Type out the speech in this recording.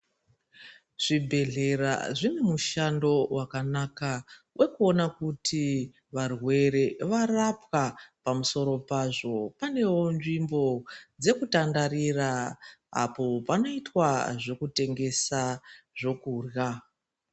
Zvibhedhlera zvine mushando wakanaka, wekuona kuti varwere varapwa. Pamusoro pazvo panewo nzvimbo dzekutandarira, apo panoyitwa zvekutengesa zvokurya.